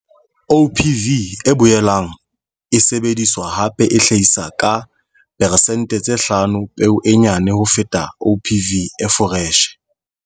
OPV e boelang e sebediswa hape e hlahisa ka peresente tse hlano peo e nyane ho feta OPV e foreshe.